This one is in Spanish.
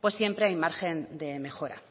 pues siempre hay margen de mejora